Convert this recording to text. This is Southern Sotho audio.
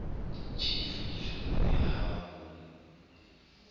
tjhefu dijong le ha ho